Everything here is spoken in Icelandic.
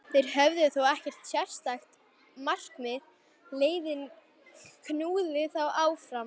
Þeir höfðu þó ekkert sérstakt markmið, leiðinn knúði þá áfram.